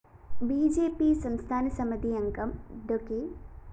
B J P സംസ്ഥാന സമിതിയംഗം അഡ്വ